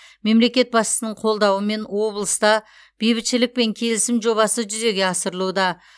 мемлекет басшысының қолдауымен облыста бейбітшілік пен келісім жобасы жүзеге асырылуда